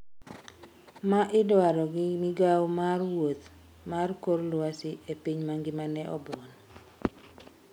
ma idwaro gi migawo mar wuoth mar kor lwasi e piny mangima ne obuon